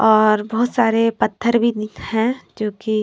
और बहुत सारे पत्थर भी है जो कि --